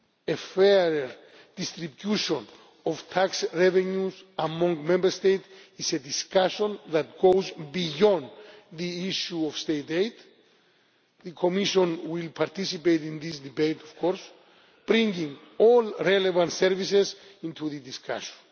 A fairer distribution of tax revenues amongst Member States is a discussion that goes beyond the issue of state aid. The Commission will participate in this debate of course, bringing all relevant services into the discussion.